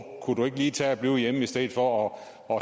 kunne du ikke lige tage at blive hjemme i stedet for at